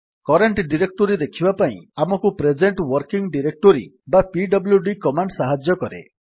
current directory ଦେଖିବା ପାଇଁ ଆମକୁ ପ୍ରେଜେଣ୍ଟ୍ ୱର୍କିଂ ଡିରେକ୍ଟୋରୀ ବା ପିଡବ୍ଲ୍ୟୁଡି କମାଣ୍ଡ୍ ସାହାଯ୍ୟ କରେ